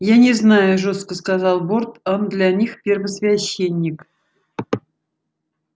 я не знаю жёстко сказал борт он для них первосвященник